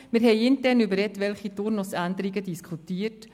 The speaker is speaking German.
Wir haben intern über etwaige Turnusänderungen diskutiert.